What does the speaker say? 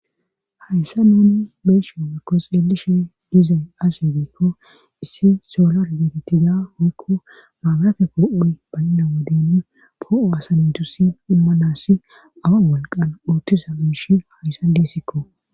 Hayssa nuuni beshe oykko xeelishe diizay asi giikko issi soolar beetitiga oykko maabarafe kor'o baynna woden poo'o asa mitusi immanassi awa wolqan uottisa iishi hayssa deesikko.